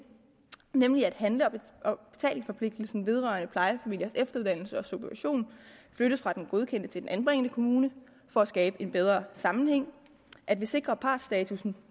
nemlig at handle og betalingsforpligtelsen vedrørende plejefamiliers efteruddannelse og supervision flyttes fra den godkendende til den anbringende kommune for at skabe en bedre sammenhæng at vi sikrer partsstatussen